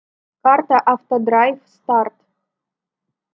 карта автодрайв старт